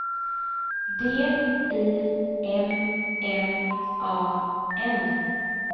D I M M A N